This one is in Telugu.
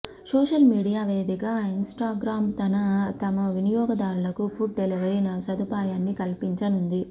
సోషల్ మీడియా వేదిక ఇన్స్టాగ్రామ్ తమ వినియోదారులకు ఫుడ్ డెలీవరీ సదుపాయాన్నికల్పించనుంది